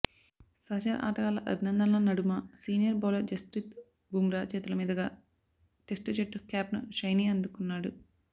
సహచర ఆటగాళ్ల అభినందనల నడుమ సీనియర్ బౌలర్ జస్ప్రీత్ బుమ్రా చేతుల మీదుగా టెస్ట్ జట్టు క్యాప్ను షైనీ అందుకుకున్నాడు